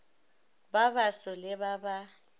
ba baso le ba ba